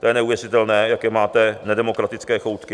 To je neuvěřitelné, jaké máte nedemokratické choutky.